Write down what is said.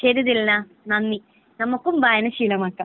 ശരി ദിൽന നന്ദി. നമുക്കും വായന ശീലമാക്കാം